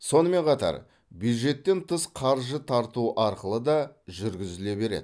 сонымен қатар бюджеттен тыс қаржы тарту арқылы да жүргізіле береді